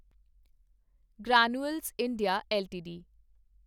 granules India LTD